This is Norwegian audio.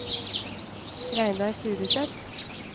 Reidar Furuseth